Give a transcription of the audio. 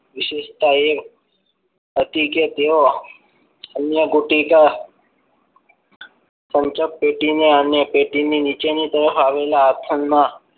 વિશેષતા એ હતી કે તેઓ અન્ન ગુટિકા સંચક પેથી નેઅને પેટી ની નીચે ની તરફ આવેલા હાથમાં